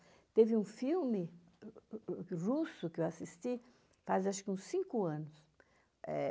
Teve um filme russo que eu assisti faz acho que uns cinco anos. Eh